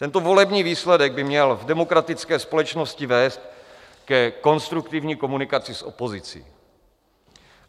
Tento volební výsledek by měl v demokratické společnosti vést ke konstruktivní komunikaci s opozicí.